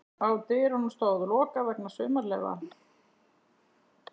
Á dyrunum stóð: LOKAÐ VEGNA SUMARLEYFA.